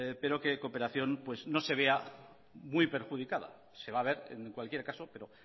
pero que en cooperación pues no se vea muy perjudicada se va a ver en cualquier caso pero